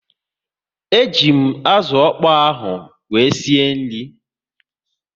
E ji m azụ ọkpọ ahụ wee sie nri